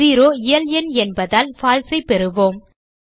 0 இயல்எண் இல்லையென்பதால் பால்சே ஐ பெறுவோம்